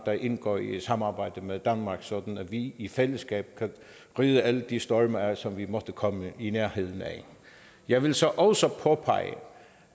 der indgår i et samarbejde med danmark sådan at vi i fællesskab kan ride alle de storme af som vi måtte komme i nærheden af jeg vil så også påpege